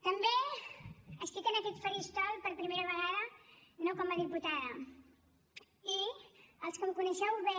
també estic en aquest faristol per primera vegada no com a diputada i els que em coneixeu bé